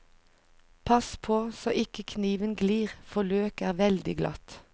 Pass på så ikke kniven glir, for løk er veldig glatt.